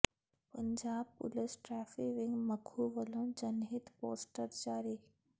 Punjab police traffic wing Makhu ਵਲੋਂ ਜਨਹਿਤ poster ਜਾਰੀ